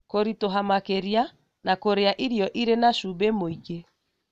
Kũritũha makĩria na kũrĩa irio irĩ na cumbĩ mũingĩ.